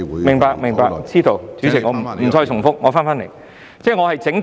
明白、知道，主席，我不再重複，我返回這項議題。